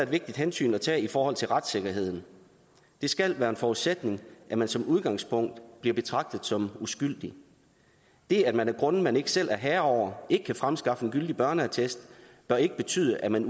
vigtigt hensyn at tage i forhold til retssikkerheden det skal være en forudsætning at man som udgangspunkt bliver betragtet som uskyldig det at man af grunde man ikke selv er herre over ikke kan fremskaffe en gyldig børneattest bør ikke betyde at man